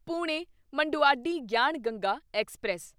Pune Manduadih Gyan Ganga express